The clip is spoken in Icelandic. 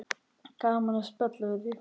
Gaman að spjalla við þig.